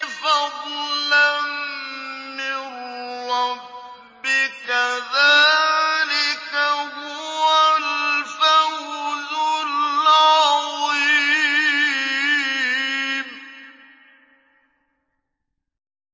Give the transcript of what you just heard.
فَضْلًا مِّن رَّبِّكَ ۚ ذَٰلِكَ هُوَ الْفَوْزُ الْعَظِيمُ